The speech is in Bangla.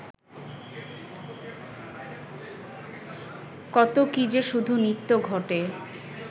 কত কী-যে শুধু নিত্য ঘটে